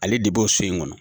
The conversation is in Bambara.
Ale de b'o so in kɔnɔ.